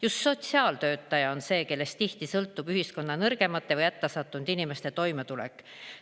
Just sotsiaaltöötaja on see, kellest tihti sõltub ühiskonna nõrgemate või hätta sattunud inimeste toimetulek.